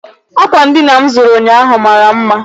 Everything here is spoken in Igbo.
Ákwà ndịna m zụrụ ụnyaahụ mara mma.